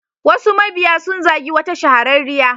Wasu mabiya sun zagi wata shahararriyar.